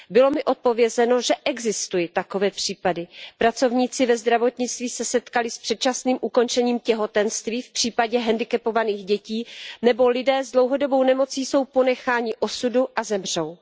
Bylo mi odpovězeno, že existují takové případy, pracovníci ve zdravotnictví se setkali s předčasným ukončením těhotenství v případě hendikepovaných dětí nebo lidé s dlouhodobou nemocí jsou ponecháni osudu a zemřou.